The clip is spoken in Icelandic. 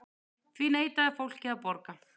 Því neitaði fólkið að borga.